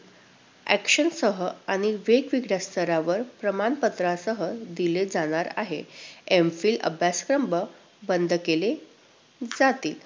Action सह आणि वेगवेगळ्या स्तरावर प्रमाणपत्रासह दिले जाणार आहेत. M. Phil अभ्यासक्रम बंद केले जातील.